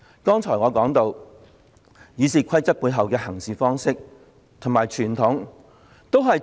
剛才我提到《議事規則》當中的行事方式及背後傳統。